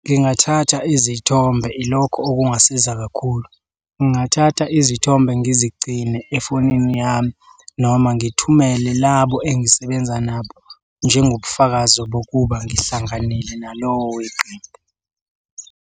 ngingathatha izithombe. Ilokho okungasiza kakhulu, ngingathatha izithombe ngizigcine efonini yami noma ngithumele labo engisebenza nabo njengobufakazi bokuba ngihlanganile nalowo weqembu.